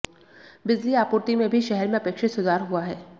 बिजली आपूर्ति में भी शहर में अपेक्षित सुधार हुआ है